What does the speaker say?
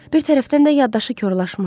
Bir tərəfdən də yaddaşı korlaşmışdı.